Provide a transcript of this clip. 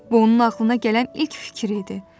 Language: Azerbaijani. Bu onun ağlına gələn ilk fikir idi.